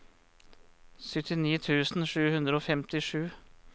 syttini tusen sju hundre og femtisju